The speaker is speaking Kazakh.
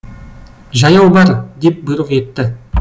жаяу бар деп бұйрық етті